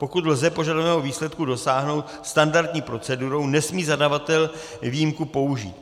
Pokud lze požadovaného výsledku dosáhnout standardní procedurou, nesmí zadavatel výjimku použít.